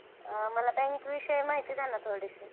अ मला bank विषयी माहिती द्या ना थोडीशी.